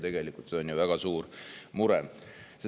Tegelikult see on väga suur mure.